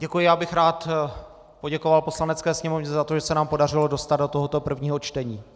Děkuji, já bych rád poděkoval Poslanecké sněmovně za to, že se nám podařilo dostat do tohoto prvního čtení.